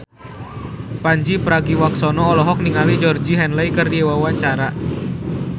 Pandji Pragiwaksono olohok ningali Georgie Henley keur diwawancara